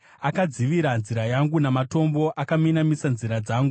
Akadzivira nzira yangu namatombo; akaminamisa nzira dzangu.